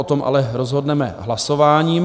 O tom ale rozhodneme hlasováním.